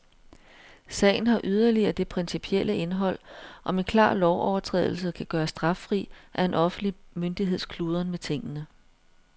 Sagen har yderligere det principielle indhold, om en klar lovovertrædelse kan gøres straffri af en offentlig myndigheds kludren med tingene.